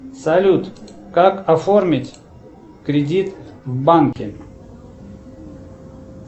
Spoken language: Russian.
салют как оформить кредит в банке